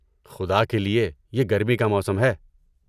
خدا کے لیے! یہ گرمی کا موسم ہے۔